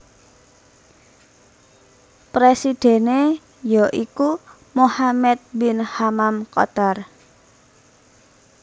Presidhèné ya iku Mohammed bin Hammam Qatar